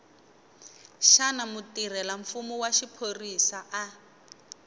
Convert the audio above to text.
xana mutirhelamfumo wa xiphorisa a